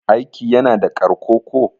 aiki yana da ƙarko ko?